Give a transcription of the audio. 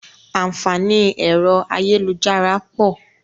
Àǹfààní ẹ̀rọ ayélujára pọ̀